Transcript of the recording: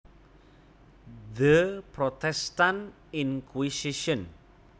The Protestant Inquisition